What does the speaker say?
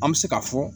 An bɛ se k'a fɔ